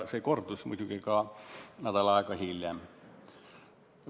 Seda korrati muidugi ka nädal aega hiljem.